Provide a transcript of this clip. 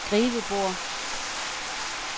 skrivebord